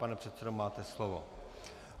Pane předsedo, máte slovo.